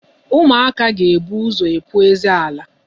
Ụmụaka ga-ebu ụzọ epu eze ala.